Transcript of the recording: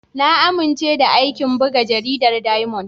Na amince da aikin buga jaridar Diamond.